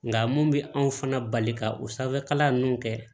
Nka mun bɛ anw fana bali ka o sanfɛkalan ninnu kɛ